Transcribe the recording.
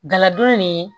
Galadon ni